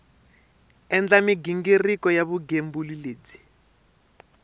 endla mighingiriko ya vugembuli lebyi